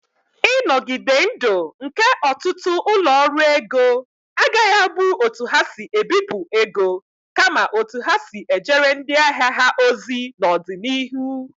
Ịnogide ndụ nke ọtụtụ ụlọ ọrụ ego agaghị abụ otu ha si ebipụ ego, kama otu ha si ejere ndị ahịa ha ozi n'ọdịnihu.